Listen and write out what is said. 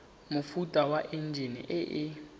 mofuta wa enjine e e